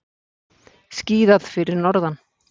Skíðað fyrir norðan